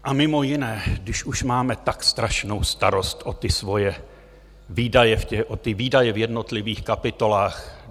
A mimo jiné, když už máme tak strašnou starost o ty svoje výdaje v jednotlivých kapitolách.